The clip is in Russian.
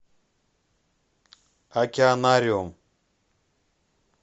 океанариум